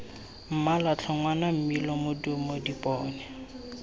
mmala ditlhogwana mmino modumo dipone